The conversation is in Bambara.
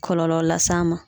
Kɔlɔlɔ las'a ma